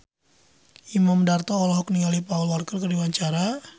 Imam Darto olohok ningali Paul Walker keur diwawancara